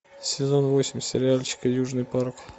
сезон восемь сериальчика южный парк